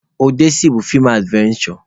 Ọdesi bụ feem advenshọ.